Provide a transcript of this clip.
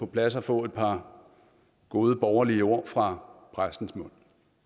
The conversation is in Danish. plads at få et par gode borgerlige ord fra præstens mund